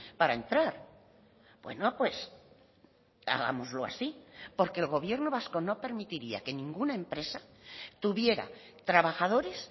para entrar bueno pues hagámoslo así porque el gobierno vasco no permitiría que ninguna empresa tuviera trabajadores